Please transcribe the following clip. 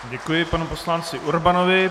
Děkuji panu poslanci Urbanovi.